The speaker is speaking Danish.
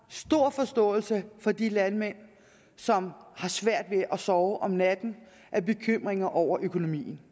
stor forståelse for de landmænd som har svært ved at sove om natten af bekymring over økonomien